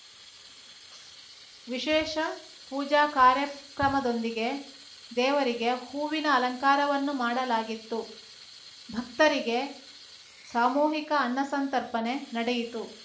ವಿಶೇಷ ಪೂಜಾ ಕಾರ್ಯಕ್ರಮದೊಂದಿಗೆ ದೇವರಿಗೆ ಹೂವಿನ ಅಲಂಕಾರವನ್ನು ಮಾಡಲಾಗಿತ್ತು ಭಕ್ತರಿಗೆ ಸಾಮೂಹಿಕ ಅನ್ನಸಂತರ್ಪಣೆ ನಡೆಯಿತು